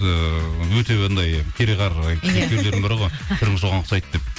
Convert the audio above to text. ііі өте анандай керіқар кісілердің бірі ғой түрің соған ұқсайды деп